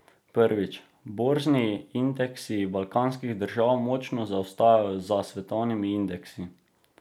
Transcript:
Prvič, borzni indeksi balkanskih držav močno zaostajajo za svetovnimi indeksi.